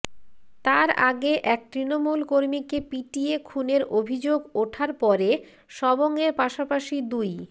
তার আগে এক তৃণমূল কর্মীকে পিটিয়ে খুনের অভিযোগ ওঠার পরে সবংয়ের পাশাপাশি দুই